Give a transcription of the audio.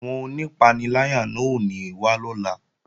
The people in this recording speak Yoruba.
Àwọn onípaniláyà náà ò ní wá lọ́la